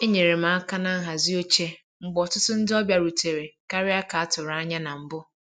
Enyere m aka na nhazi oche mgbe ọtụtụ ndị ọbịa rutere karịa ka a tụrụ anya na mbụ